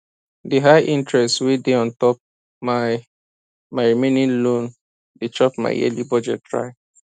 the high interest wey dey on top my my remaining loan dey chop my yearly budget dry